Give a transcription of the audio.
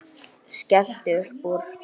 Skellti upp úr.